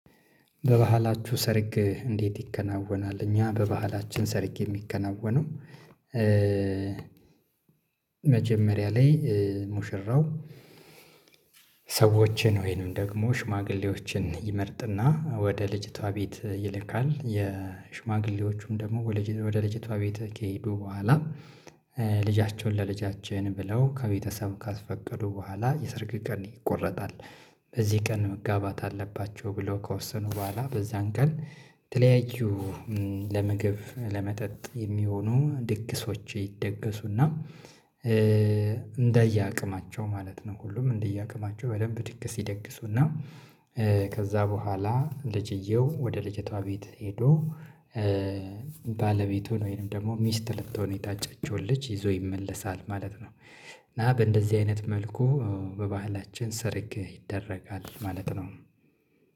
በባህላችሁ ሰርግ እንዴት ይከናወናል? እኛ በባህላችን ሰርግ የሚከናወነው መጀመሪያ ላይ ሙሽራው ሰዎችን ወይንም ደግሞ ሽማግሌዎችን ይመርጥና ወደ ልጅቷ ቤት ይልካል የሽማግሌዎቹም ደግሞ ወደ ለጀቷ ቤት ከሄዱ በኋላ ልጃችሁን ለልጃችን ብለው ከቤተሰብ ካስፈቀዱ በኋላ የሰርግ ቀን ይቆረጣል። በዚህ ቀን መጋባት አለባቸው ብለው ከወሰኑ በኋላ በዛን ቀን የተለያዩ ለምግብ ለመጠጥ የሚሆኑ ድግሶች ይደገሱና እንደየአቅማቸው ማለት ነው ሁሉም እንደየአቅማቸው በደንብ ድግስ ይደግሱና። ከዛ በኋላ ልጅየው ወደ ልጅቷ ቤት ሄዶ ባለቤቱ ወይንም ደግሞ ሚስት ልትሆን የታጨችውን ልጅ ይዞ ይመለሳል ማለት ነው። እና በእንደዚህ አይነት መልኩ በባህላችን ሰርግ ይደረጋል ማለት ነው።